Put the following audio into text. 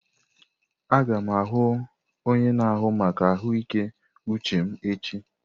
Aga m ahụ onye na-ahụ maka ahụike uche m echi.